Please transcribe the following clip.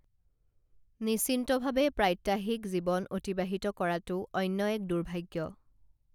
নিশ্চিন্তভাৱে প্ৰাত্যাহিক জীৱন অতিবাহিত কৰাটোও অন্য এক দুৰ্ভাগ্য়